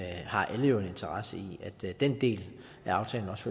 alle har jo en interesse i at der den del af aftalen